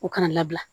U kana labila